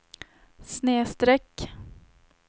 snedsträck